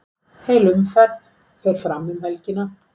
Heil umferð fer fram um helgina.